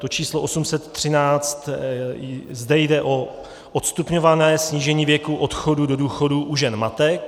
To číslo 813 - zde je o odstupňované snížení věku odchodu do důchodu u žen matek.